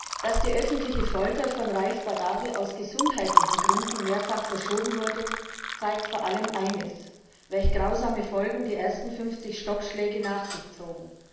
Herr Präsident! Dass die öffentliche Folter von Raif Badawi aus gesundheitlichen Gründen mehrfach verschoben wurde, zeigt vor allem eines welch grausame Folgen die ersten 50 Stockschläge nach sich zogen.